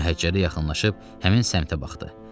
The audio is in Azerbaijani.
Məhəccərə yaxınlaşıb həmin səmtə baxdı.